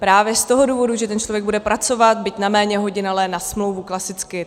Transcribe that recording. Právě z toho důvodu, že ten člověk bude pracovat, byť na méně hodin, ale na smlouvu klasicky.